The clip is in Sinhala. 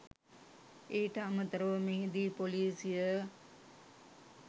ඊට අමතරව මෙහිදී ‍පොලිසිය